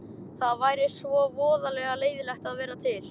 Það væri svo voðalega leiðinlegt að vera til.